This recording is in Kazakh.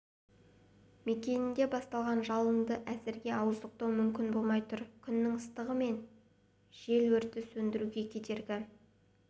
мекенінде басталған жалынды әзірге ауыздықтау мүмкін болмай тұр күннің ыстығы мен жел өртті сөндіруге кедергі